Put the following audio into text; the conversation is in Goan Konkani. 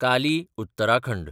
काली - उत्तराखंड